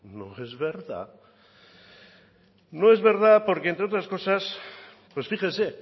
no es verdad porque entre otras cosas pues fíjense